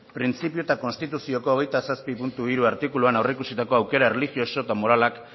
printzipio eta konstituzioko hogeita zazpi puntu hiru artikuluan aurreikusitako aukera erlijioso eta moralak